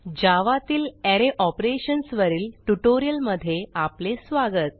जावा तील अरे Operationsवरील ट्युटोरियलमधे आपले स्वागत